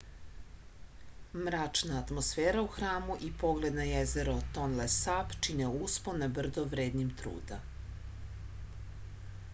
mračna atmosfera u hramu i pogled na jezero tonle sap čine uspon na brdo vrednim truda